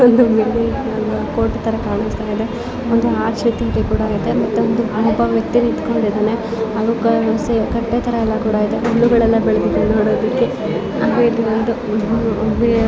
ಈ ಚಿತ್ರದಲ್ಲಿ ನಮಗೊಂದು ಕೋಟೆ ತರ ಕಾಣಿಸ್ತಾಯಿದೆ ಒಂದು ಹಾರ್ಟ್ ಶೇಪ್ ಅಲ್ಲಿ ಕೂಡ ಇದೆ ಅಲ್ಲಿ ಒಬ್ಬ ವ್ಯಕ್ತಿ ನಿಂತುಕೊಂಡು ಇದಾನೆ ಅಲ್ಲಿ ಒಂದು ಸ್ವಲ್ಪ ಕಟ್ಟೆತರ ಇದೆ ಹುಲ್ಲುಗಳೆಲ್ಲ ಬೆಳದಿದಾವೆ ನೋಡೋದಿಕ್ಕೆ ಅಂದ್ರೆ ಇದು ಒಂದು --